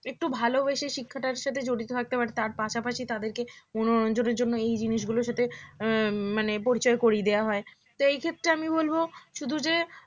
একটু ভালোবেসে শিক্ষাটার সাথে জড়িত থাকতে পারে তার পাশাপাশি তাদেরকে মনোরঞ্জনের জন্য এই জিনিস গুলো সাথে উম মানে পরিচয় করিয়ে দেওয়া হয় তো এই ক্ষেত্রে আমি বলব শুধু যে